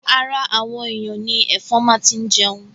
Ara àwọn èyàn ni ẹ̀fọn máa ti jẹun.